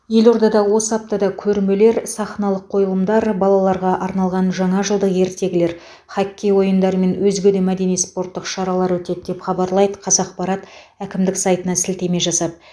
елордада осы аптада көрмелер сахналық қойылымдар балаларға арналған жаңажылдық ертегілер хоккей ойындары мен өзге де мәдени спорттық шаралар өтеді деп хабарлайды қазақпарат әкімдік сайтына сілтеме жасап